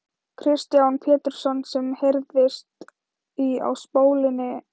Kristján Pétursson sem heyrðist í á spólunni.